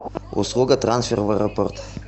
услуга трансфер в аэропорт